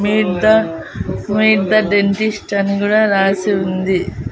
Meet the meet the dentist అని గుడ రాసి ఉంది.